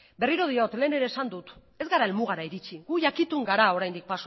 berriro diot lehen ere esan dut ez gara helmuga iritsi guk jakitun gara oraindik